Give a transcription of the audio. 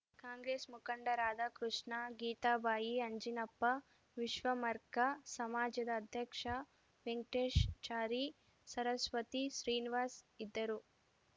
ಕಾಂಗ್ರೆಸ್‌ ಮುಖಂಡರಾದ ಕೃಷ್ಣ ಗೀತಾಬಾಯಿ ಅಂಜಿನಪ್ಪ ವಿಶ್ವಮರ್ಕ ಸಮಾಜದ ಅಧ್ಯಕ್ಷ ವೆಂಕಟೇಶ್‌ಚಾರಿ ಸರಸ್ವತಿ ಶ್ರೀನಿವಾಸ್‌ ಇದ್ದರು